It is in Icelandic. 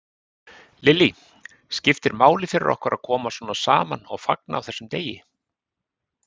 Lillý: Skiptir máli fyrir okkur að koma svona saman og fagna á þessum degi?